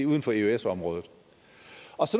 uden for eøs området og